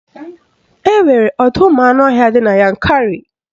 Enwere ọdọụmụanụọhịa dị na Yankarị